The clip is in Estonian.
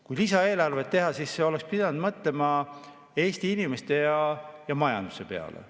Kui lisaeelarvet tehti, siis oleks pidanud mõtlema Eesti inimeste ja majanduse peale.